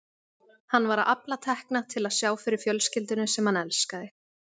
Hann var að afla tekna til að sjá fyrir fjölskyldunni sem hann elskaði.